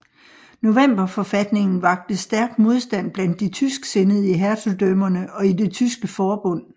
Novemberforfatningen vakte stærk modstand blandt de tysksindede i hertugdømmerne og i det tyske forbund